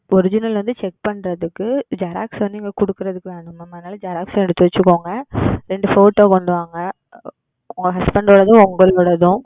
Original வந்து Check பண்றதுக்கு. Xerox வந்து இங்க குடுக்குதற்கு வேணும் Ma'am அதனால Xerox உம் எடுத்து வச்சிக்கோங்க. Photo கொண்டு வாங்க உங்க Husband ஓடதும் உங்களோடதும்.